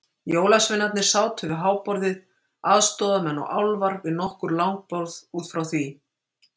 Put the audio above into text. Jólasveinarnir sátu við háborðið, aðstoðarmenn og álfar við nokkur langborð út frá því.